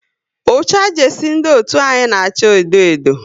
Ucha jesie ndị otu anyị na acha edo edo